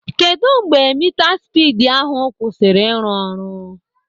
Kedụ mgbe mitaspidi ahụ kwụsịrị ịrụ ọrụ?